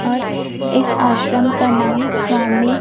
और इस आश्रम का नाम स्वामि --